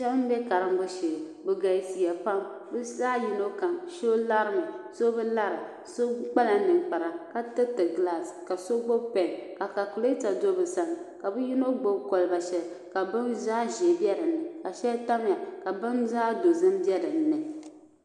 Shɛba m-be karimbu shee bɛ galisiya pam bɛ zaa yino kam so lari mi so bi lara so kpala ninkpara ka tiriti gilaasi ka so gbubi pɛɛn ka kaakuleta do bɛ sani ka bɛ yino gbubi kɔliba shɛli ka bini zaɣ' ʒee be din ni ka shɛli tamya ka bini zaɣ' dozim be din ni.